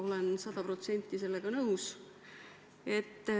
Olen sada protsenti sellega nõus.